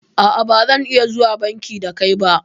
A'a bazan iya zuwa banki da kai ba